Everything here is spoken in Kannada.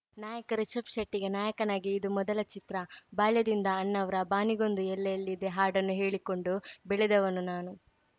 ನಾಯಕ ರಿಷಬ್‌ ಶೆಟ್ಟಿಗೆ ನಾಯಕನಾಗಿ ಇದು ಮೊದಲ ಚಿತ್ರ ಬಾಲ್ಯದಿಂದ ಅಣ್ಣಾವ್ರ ಬಾನಿಗೊಂದು ಎಲ್ಲೆ ಎಲ್ಲಿದೆ ಹಾಡನ್ನು ಹೇಳಿಕೊಂಡು ಬೆಳೆದವನು ನಾನು